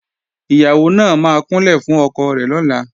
Ìyàwó náà máa kúnlẹ̀ fún ọkọ rẹ̀ lọ́la